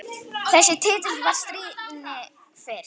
Þessi titill var stríðni fyrst.